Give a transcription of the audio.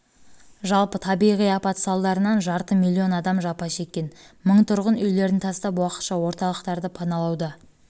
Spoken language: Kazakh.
жалпы табиғи апат салдарынан жарты миллион адам жапа шеккен мың тұрғын үйлерін тастап уақытша орталықтарды паналауға